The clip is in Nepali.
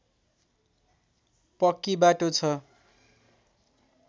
पक्की बाटो छ